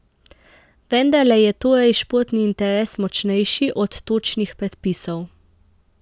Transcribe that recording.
Vendarle je torej športni interes močnejši od točnih predpisov.